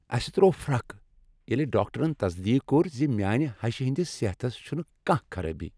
اسہ تروو پھركھ ییٚلہ ڈاکٹرن تصدیق كوٚر ز میانہ ہشہِ ہندِس صحتس چھنہٕ كانہہ خرٲبی ۔